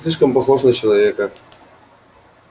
слишком похож на человека